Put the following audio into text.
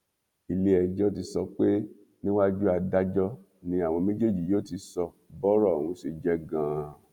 iléẹjọ ti sọ pé níwájú adájọ ni àwọn méjèèjì yóò ti sọ bọrọ ọhún ṣe jẹ ganan